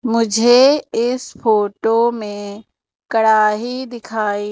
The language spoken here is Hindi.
मुझे इस फोटो में कड़ाही दिखाई--